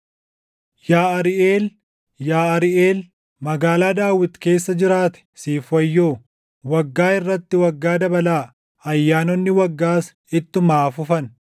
Yaa Ariiʼeel, yaa Ariiʼeel, magaalaa Daawit keessa jiraate, siif wayyoo! Waggaa irratti waggaa dabalaa; ayyaanonni waggaas ittuma haa fufan.